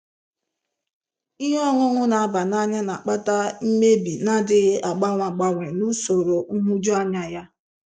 Ihe ọṅụṅụ na-aba n'anya na-akpata mmebi na-adịghị agbanwe agbanwe na usoro nhụjuanya ya.